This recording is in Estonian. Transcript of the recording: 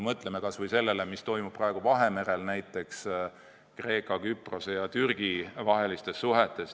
Mõtleme kas või sellele, mis toimub praegu Vahemerel Kreeka Küprose ja Türgi vahelistes suhetes.